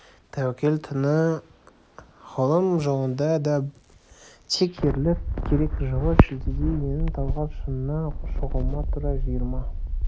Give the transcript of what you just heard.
тәуекел түні ғылым жолында да тек ерлік керек жылы шілдеде менің талғар шыңына шығуыма тура жиырма